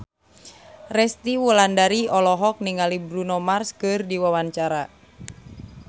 Resty Wulandari olohok ningali Bruno Mars keur diwawancara